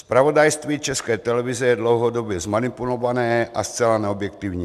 Zpravodajství České televize je dlouhodobě zmanipulované a zcela neobjektivní.